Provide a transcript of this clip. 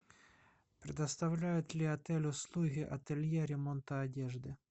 предоставляет ли отель услуги ателье ремонта одежды